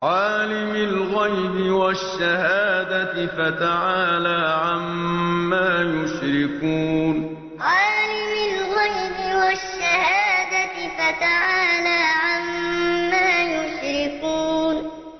عَالِمِ الْغَيْبِ وَالشَّهَادَةِ فَتَعَالَىٰ عَمَّا يُشْرِكُونَ عَالِمِ الْغَيْبِ وَالشَّهَادَةِ فَتَعَالَىٰ عَمَّا يُشْرِكُونَ